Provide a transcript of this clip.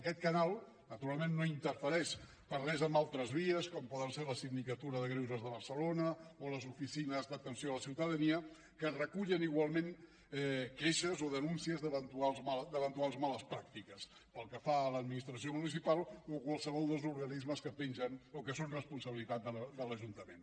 aquest canal naturalment no interfereix per res amb altres vies com poden ser la sindicatura de greuges de barcelona o les oficines d’atenció a la ciutadania que recullen igualment queixes o denúncies d’eventuals males pràctiques pel que fa a l’administració municipal o a qualsevol dels organismes que pengen o que són responsabilitat de l’ajuntament